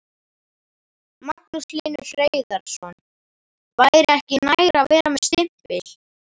Magnús Hlynur Hreiðarsson: Væri ekki nær að vera með stimpil?